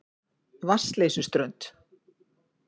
Vatnsleysuströnd